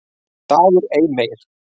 DAGUR EI MEIR